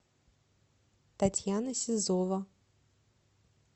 татьяна сизова